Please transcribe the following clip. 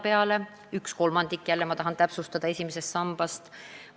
Tahan jälle täpsustada, et jutt on ühest kolmandikust esimesest sambast.